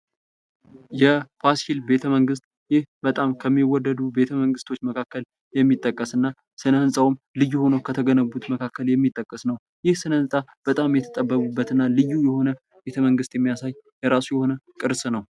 የፋሲል ቤተመንግስት ፦ ይህ በጣም ከሚወደዱ ቤተመንግስቶች መካከል የሚጠቀስ እና ስነህንጻውም ልዩ ሆነው ከተገነቡት መካከል የሚጠቀስ ነው ። ይህ ስነህንፃ በጣም የተጠበቡበትና ልዩ የሆነ ቤተመንግስት የሚያሳይ የራሱ የሆነ ቅርስ ነው ።